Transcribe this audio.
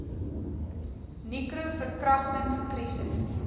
nicro verkragtings krisis